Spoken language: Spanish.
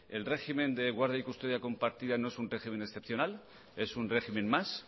el régimen de guardia y custodia compartida no es un régimen excepcional es un régimen más